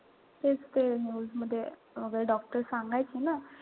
तेच ते news मध्ये वगैरे doctor सांगायचे ना.